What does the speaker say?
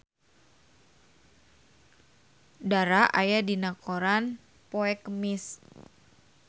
Dara aya dina koran poe Kemis